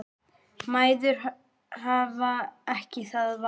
Mæður hafa ekki það val.